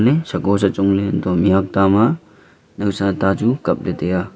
le sako sachong le untoh ley mih hok ta ma nowsa ta chu kap le tai aa.